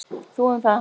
Þú um það.